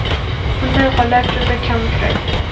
Bunday holat juda kam uchraydi.